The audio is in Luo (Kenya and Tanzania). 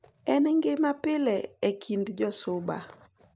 En gima pile e kind jo Suba ,.